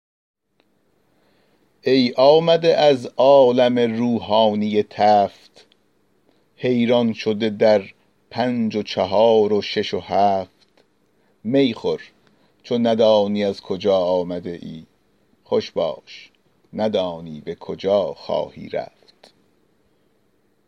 ای آمده از عالم روحانی تفت حیران شده در پنج و چهار و شش و هفت می نوش ندانی ز کجا آمده ای خوش باش ندانی به کجا خواهی رفت